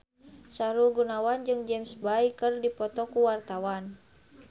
Sahrul Gunawan jeung James Bay keur dipoto ku wartawan